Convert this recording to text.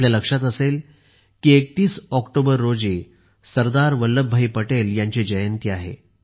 आपल्या लक्षात असेल की 31 ऑक्टोबर रोजी सरदार वल्लभाई पटेल यांची जयंती आहे